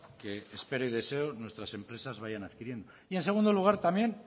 que espero y deseo nuestras empresas vayan adquiriendo y en segundo lugar también